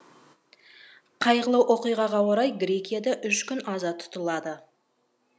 қайғылы оқиғаға орай грекияда үш күн аза тұтылады